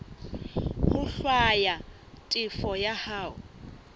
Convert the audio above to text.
ho hlwaya tefo ya hao